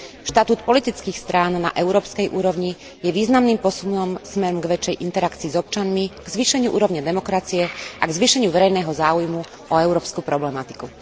Štatút politických strán na európskej úrovni je významným posunom smerom k väčšej interakcii s občanmi, k zvýšeniu úrovne demokracie a k zvýšeniu verejného záujmu o európsku problematiku.